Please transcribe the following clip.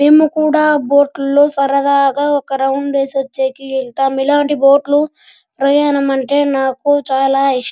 మేము కూడా బోట్ లో సరదాగా ఒక రౌండ్ వేసివచ్చేదానికి వెళతాం ఇలాంటి బొట్లు ప్రయాణమంటే నాకు చాల ఇష్టం .